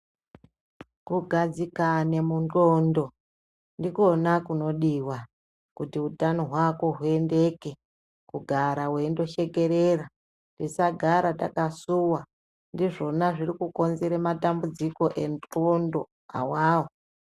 Kugadzikane mundxondo ndikona kunodiva kuti utano hwako huendeke. Kugara veindoshekerera tisagara takasuva ndizvona zvirikukonzere matambudziko endxondo awawo.